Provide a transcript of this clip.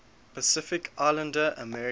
pacific islander americans